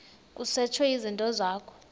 kusetshwe izinto zakho